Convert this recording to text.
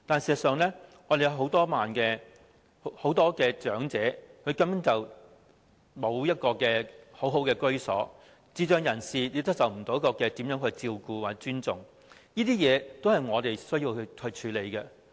事實上，很多長者根本沒有良好的居所，智障人士亦沒有受到照顧和尊重，這些都是我們需要處理的。